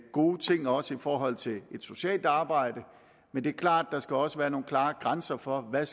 gode ting også i forhold til et socialt arbejde men det er klart at der også skal være nogle klare grænser for hvad